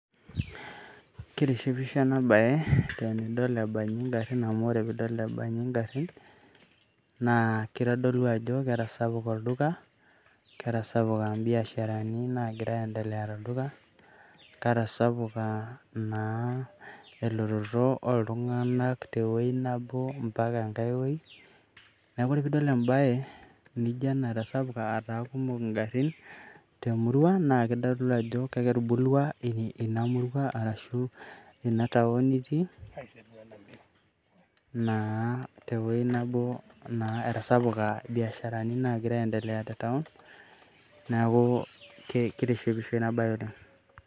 Kitishipisho ena baye tenidol ebaji ingarrin amu ore piidol ebaji ingarrin naa kitodolu aajo ketasapuka olduka, ketasapuka imbiasharani naagira aiendelea tolduka, ketasapuka naa elototo oltung'anak tewuoi nabo mpaka engae wuoi. Neeku enidol embaye nijo ena etasapuka, etaa kumok ingarrin temurua naa kitodulu ajo ketubulua ina muruaarashu inna town nitii aa etasapuka biashara nagira aiendelea te town neeku kitishipisho ina baye oleng'.